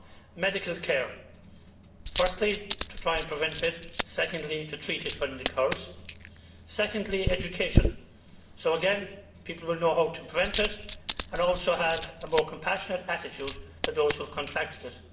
One, medical care firstly to try and prevent it, secondly to treat it when it occurs. Secondly, education so, again, people will know how to prevent it and also have a more compassionate attitude to those who have contracted it.